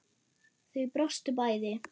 Þau brostu bæði.